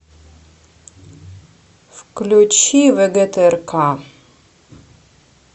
включи вгтрк